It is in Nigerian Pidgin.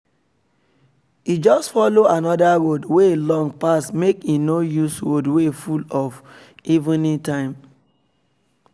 e just follow another road wey long pass make e no use road wey full for evening time